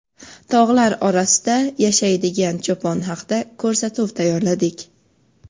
tog‘lar orasida yashaydigan cho‘pon haqida ko‘rsatuv tayyorladik.